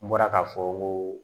N bɔra k'a fɔ ko